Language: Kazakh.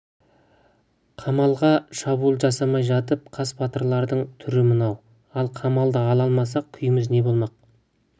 қамалға шабуыл жасамай жатып қас батырлардың түрі мынау ал қамалды ала алмасақ күйіміз не болмақ